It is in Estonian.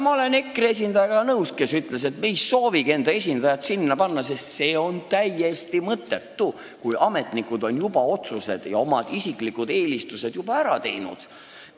Ma olen nõus EKRE esindajaga, kes ütles, et nad ei soovigi enda esindajat sinna saata, sest see on täiesti mõttetu, kui ametnikud on juba otsused oma isikliku eelistuse põhjal ära teinud.